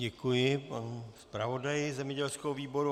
Děkuji panu zpravodaji zemědělského výboru.